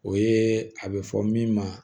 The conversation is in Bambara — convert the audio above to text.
O ye a bɛ fɔ min ma